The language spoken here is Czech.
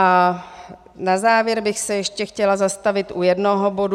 A na závěr bych se ještě chtěla zastavit u jednoho bodu.